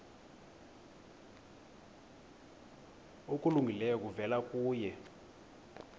okulungileyo kuvela kuye